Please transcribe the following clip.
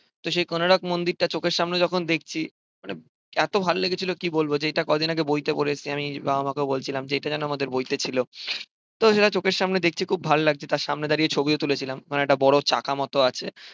তো সেই কোনারক মন্দিরটা চোখের সামনে যখন দেখছি, মানে এত ভাল লেগেছিল কি বলবো? যে এটা কদিন আগে বইতে পড়েছি আমি বাবা মাকেও বলছিলাম যে, এটা জানো আমাদের বইতে ছিল? তো সেটা চোখের সামনে দেখছি খুব ভালো লাগছে। তার সামনে দাঁড়িয়ে ছবিও তুলেছিলাম। ওখানে একটা বড় চাকার মতো আছে